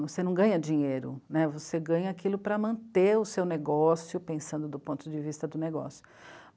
Você não ganha dinheiro, né, você ganha aquilo para manter o seu negócio, pensando do ponto de vista do negócio.